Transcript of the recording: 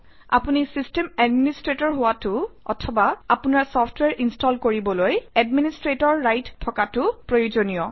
আপুনি system administrator হোৱাটো অথবা আপোনাৰ চফট্ৱেৰ ইনষ্টল কৰিবলৈ এডমিনিষ্ট্ৰেটৰ ৰাইট থকাটো প্ৰয়োজনীয়